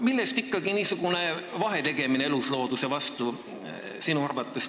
Millest ikkagi sinu arvates tuleb niisugune vahetegemine eluslooduse puhul?